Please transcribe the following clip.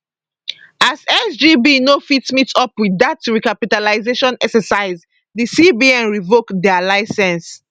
as sgb no fit meet up wit dat recapitalisation exercise di cbn revoke dia licence